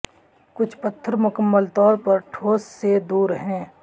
کچھ پتھر مکمل طور پر ٹھوس سے دور ہیں